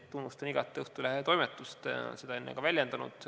" Tunnustan igati Õhtulehe toimetust, olen seda ennegi väljendanud.